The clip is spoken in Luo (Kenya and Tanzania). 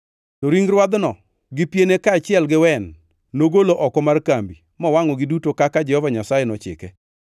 To ring rwadhno gi piene kaachiel gi wen, nogolo oko mar kambi mowangʼogi duto kaka Jehova Nyasaye nochike.